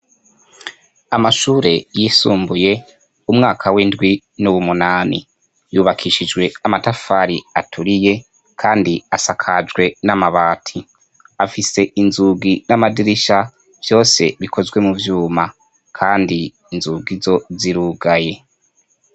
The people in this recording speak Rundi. Amashure yisumbuye umwaka w'indwi n'uwumunani yubakishijwe amatafari aturiye kandi asakajwe n'amabati afise inzugi n'amadirisha vyose bikozwe mu vyuma kandi inzugi zo zirugaye.